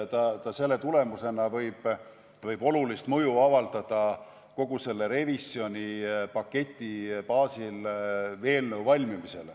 See võib avaldada olulist mõju kogu selle revisjonipaketi baasil tehtava eelnõu valmimisele.